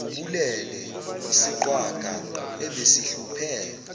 ubulele isiqhwaga ebesesihluphe